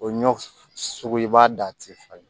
O ɲɔ sogo i b'a da a ti falen